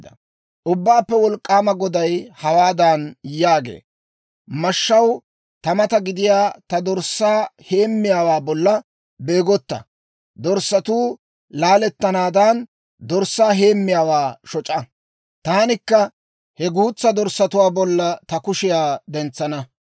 Ubbaappe Wolk'k'aama Goday hawaadan yaagee; «Mashshaw, taw mata gidiyaa ta dorssaa heemmiyaawaa bolla beegotta! dorssatuu laalettanaadan, dorssaa heemmiyaawaa shoc'a. Taanikka he guutsaa dorssatuwaa bollan ta kushiyaa dentsana.